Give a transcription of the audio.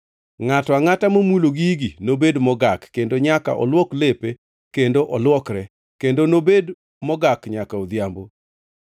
Ngʼato angʼata momulo gigi nobed mogak, kendo nyaka olwok lepe kendo olwokre, kendo nobed mogak nyaka odhiambo.